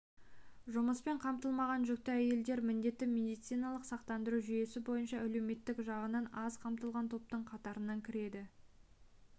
жұмыспен қамтылмаған жүкті әйелдер міндетті медициналық сақтандыру жүйесі бойынша әлеуметтік жағынан аз қамтылған топтың қатарына кіреді